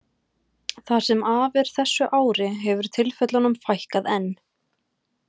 Það sem af er þessu ári hefur tilfellunum fækkað enn.